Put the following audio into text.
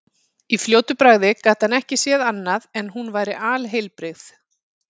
Í fljótu bragði gat hann ekki séð annað en hún væri alheilbrigð.